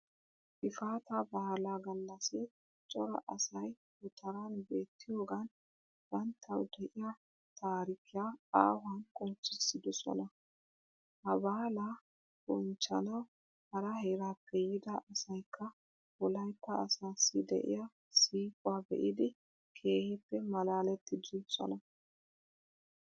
Gifaataa baalaa gallassi cora asayi gutaraan beettiyogan banittawu de'iya taarikiya aahuwan qonccissidosona. Ha baalaa bonichchanawu hara heeraappe yiida asayikka wolayitta asaassi de'iya siiquwa be'idi keehippe malaalettidisona.